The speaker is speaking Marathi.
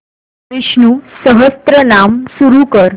विष्णु सहस्त्रनाम सुरू कर